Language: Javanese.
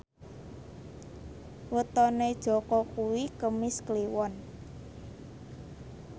wetone Jaka kuwi Kemis Kliwon